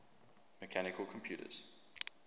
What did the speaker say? mechanical computers